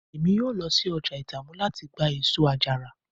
Emi yoo lọ si ọja Itamu lati gba eso-ajara